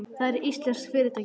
Það er íslenskt fyrirtæki.